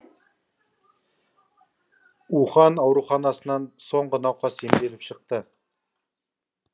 ухань ауруханасынан соңғы науқас емделіп шықты